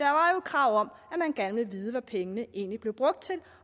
krav om at man gerne ville vide hvad pengene egentlig blev brugt til